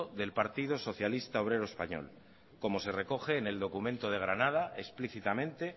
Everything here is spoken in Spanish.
del partido socialista obrero español como se recoge en el documento de granada explícitamente